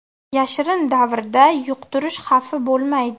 Yashirin davrda yuqtirish xavfi bo‘lmaydi.